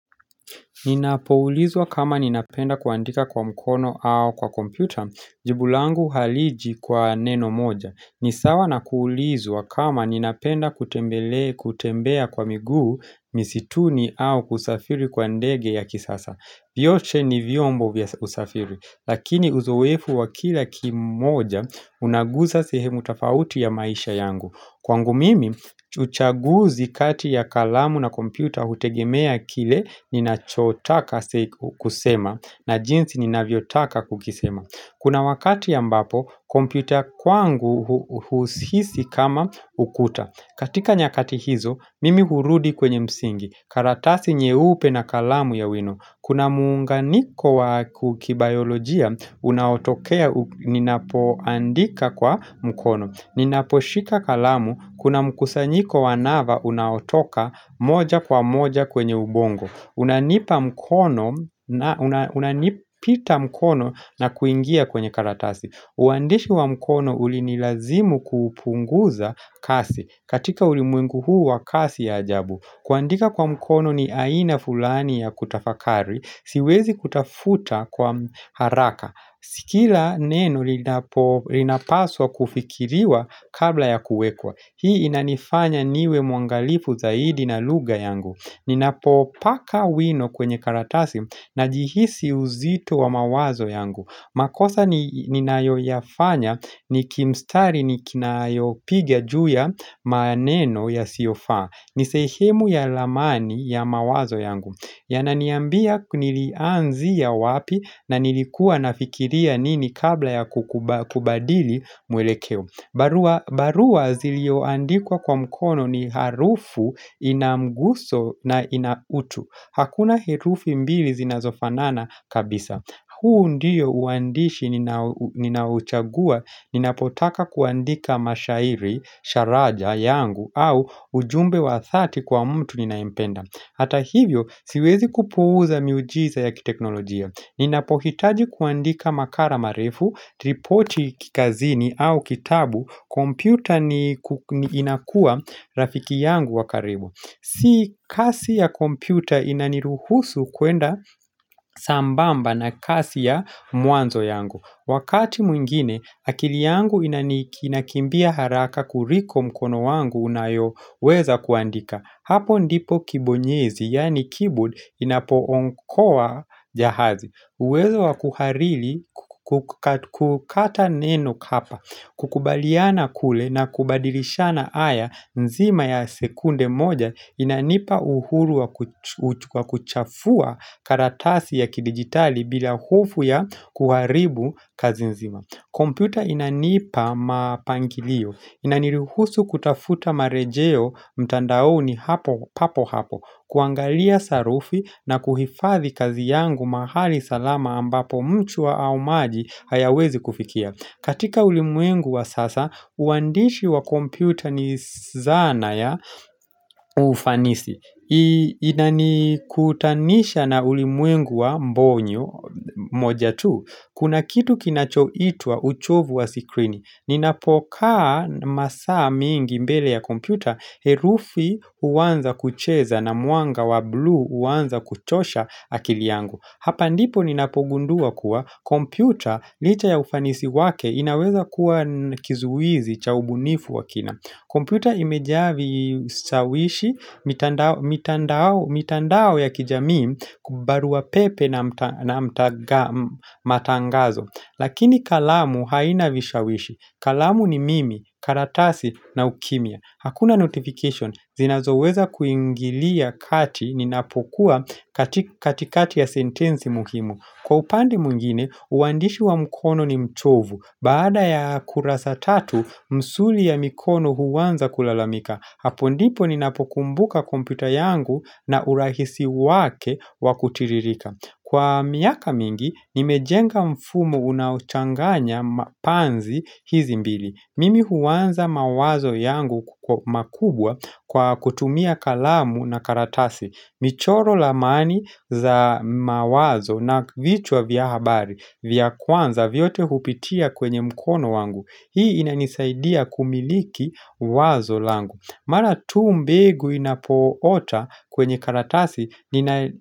Ninapoulizwa kama ninapenda kuandika kwa mkono au kwa kompyuta jibu langu haliji kwa neno moja nisawa na kuulizwa kama ninapenda kutembea kwa miguu misituni au kusafiri kwa ndege ya kisasa, vyote ni vymbo vya usafiri Lakini uzoefu wa kila kimoja unaguza sehemu tofauti ya maisha yangu Kwangu mimi, uchaguzi kati ya kalamu na kompyuta hutegemea kile ninachotaka kusema na jinsi ninavyotaka kukisema. Kuna wakati ambapo, kompyuta ya kwangu huhisisi kama ukuta. Katika nyakati hizo, mimi hurudi kwenye msingi. Karatasi nyeupe na kalamu ya wino. Kuna muunganiko wa kibayolojia, unaotokea ninapoandika kwa mkono. Ninaposhika kalamu kuna mkusanyiko wa nava unaotoka moja kwa moja kwenye ubongo unanipita mkono na kuingia kwenye karatasi uhandishi wa mkono ulinilazimu kupunguza kasi katika ulimwengu huu wa kasi ya ajabu kuandika kwa mkono ni aina fulani ya kutafakari siwezi kutafuta kwa haraka Si kila neno linapo linapaswa kufikiriwa kabla ya kuwekwa Hii inanifanya niwe mwangalifu zaidi na lugha yangu ninapopaka wino kwenye karatasi najihisi uzito wa mawazo yangu makosa ninayoyafanya ni kimstari nikinayo piga juu ya maneno yasiyofaa ni sehemu ya lamani ya mawazo yangu yananiambia nilianzia wapi na nilikuwa nafikiria nini kabla ya kubadili mwelekeo, barua barua zilioandikwa kwa mkono ni harufu inamguso na ina utu, Hakuna herufu mbili zinazofanana kabisa huu ndiyo uhandishi ninauchagua ninapotaka kuandika mashairi, sharaja yangu au ujumbe wa dhati kwa mtu ninayempenda, Hata hivyo siwezi kupuuza miujiza ya kiteknolojia. Ninapohitaji kuandika makara marefu, ripoti kazini au kitabu, kompyuta inakuwa rafiki yangu wa karibu. Si kasi ya kompyuta inaniruhusu kwenda sambamba na kasi ya mwanzo yangu. Wakati mwingine, akili yangu inakimbia haraka kuliko mkono wangu unayo weza kuandika. Hapo ndipo kibonyezi yaani keyboard inapo okoa jahazi uwezo wa kukariri kukata neno kapa kukubaliana kule na kubadilishana haya nzima ya sekunde moja inanipa uhuru wa wa kuchafua karatasi ya kidigitali bila hofu ya kuharibu kazi nzima kompyuta inanipa mapangilio inaniruhusu kutafuta marejeo mtandaoni papo hapo kuangalia sarufi na kuhifadhi kazi yangu mahali salama ambapo mchwa au maji hayawezi kufikia katika ulimwengu wa sasa, uhandishi wa kompyuta ni zana ya ufanisi Inanikutanisha na ulimwengu wa mbonyo moja tu kuna kitu kinacho itwa uchovu wa sikrini ninapokaa masaa mingi mbele ya kompyuta, herufi huanza kucheza na mwanga wa bluu, huanza kuchosha akili yangu Hapa ndipo ninapogundua kuwa kompyuta licha ya ufanisi wake inaweza kuwa kizuizi cha ubunifu wa kina kompyuta imejaa vishawishi mitandao ya kijamii, barua pepe na matangazo Lakini kalamu haina vishawishi kalamu ni mimi, karatasi na ukimya. Hakuna notification, zinazoweza kuingilia kati ni napokuwa katika katikati ya sentensi muhimu Kwa upande mwingine, uhandishi wa mkono ni mchovu Baada ya kurasa tatu, msuli ya mikono huanza kulalamika Hapo ndipo ni napokumbuka kompyuta yangu na urahisi wake wa kutiririka Kwa miaka mingi, nimejenga mfumo unauchanganya mapanzi hizi mbili. Mimi huanza mawazo yangu makubwa kwa kutumia kalamu na karatasi. Michoro ramani za mawazo na vichwa vya habari, vya kwanza, vyote hupitia kwenye mkono wangu. Hii inanisaidia kumiliki wazo langu. Mara tu mbegu inapoota kwenye karatasi ninaye.